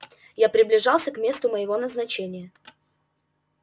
я приближался к месту моего назначения